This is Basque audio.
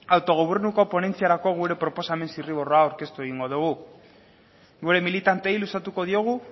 autogobernuko ponentziarako gure proposamenaren zirriborroa aurkeztu egingo dugu gure militanteei luzatuko diegu